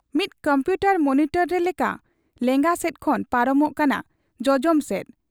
ᱢᱤᱫ computer monitor ᱨᱮ ᱞᱮᱠᱟ ᱞᱮᱸᱜᱟ ᱥᱮᱫ ᱠᱷᱚᱱ ᱯᱟᱨᱚᱢᱚᱜ ᱠᱟᱱᱟ ᱡᱚᱚᱡᱚᱢ ᱥᱮᱫ ᱾